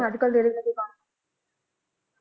ਅੱਜ ਕੱਲ ਜੇੜੇ